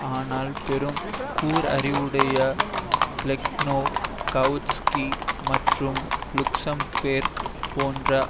ஆனால் பெரும் கூர்அறிவுடைய பிளெக்கனோவ் காவுட்ஸ்கி மற்றும் லுக்சம்பேர்க் போன்ற